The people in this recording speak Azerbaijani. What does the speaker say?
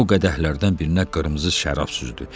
O qədəhlərdən birinə qırmızı şərab süzdü.